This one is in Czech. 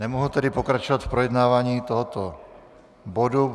Nemohu tedy pokračovat v projednávání tohoto bodu.